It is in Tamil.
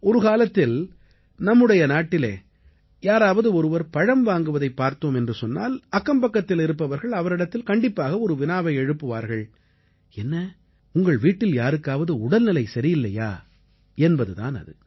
ஒரு காலத்தில் நம்முடைய நாட்டிலே யாராவது ஒருவர் பழம் வாங்குவதைப் பார்த்தோம் என்றால் அக்கம்பக்கத்தில் இருப்பவர்கள் அவரிடத்தில் கண்டிப்பாக ஒரு வினாவை எழுப்புவார்கள் என்ன உங்கள் வீட்டில் யாருக்காவது உடல்நிலை சரியில்லையா என்பது தான் அது